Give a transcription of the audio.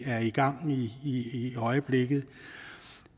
er i gang i øjeblikket